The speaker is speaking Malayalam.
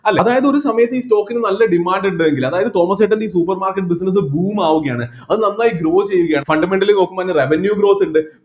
അല്ല അതായത് ഒരു സമയത്ത് ഈ stock ന് നല്ല demand ഉണ്ടുവെങ്കിൽ അതായത് തോമസേട്ടന് ഈ supermarket business boom ആവുകയാണ് അത് നന്നായി grow ചെയ്യുകയാണ് fundamentally നോക്കുമ്പോ അതിന് revenue growth ഇണ്ട്‌